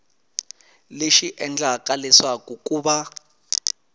lexi endlaka leswaku ku va